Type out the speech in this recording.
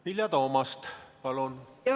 Vilja Toomast, palun!